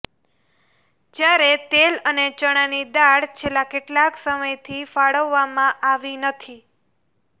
જ્યારે તેલ અને ચણાની દાળ છેલ્લા કેટલાક સમયથી ફાળવવામાં આવી નથી